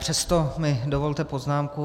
Přesto mi dovolte poznámku.